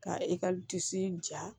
Ka i ka disi ja